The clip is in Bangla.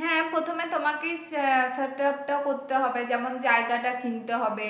হ্যাঁ প্রথমে তোমাকে আহ set up করতে হবে যেমন জায়গা টা কিনতে হবে